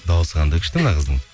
дауысы қандай күшті мына қыздың